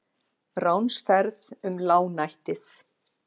RÁNSFERÐ UM LÁGNÆTTIÐ